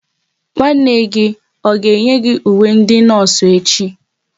Nwanne gị ọ ga eyi ùwé ndị nọọsụ echi?